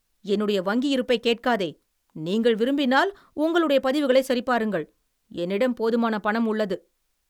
என்னுடைய வங்கியிருப்பை கேட்காதே. நீங்கள் விரும்பினால் உங்களுடைய பதிவுகளைச் சரிபாருங்கள். என்னிடம் போதுமான பணம் உள்ளது.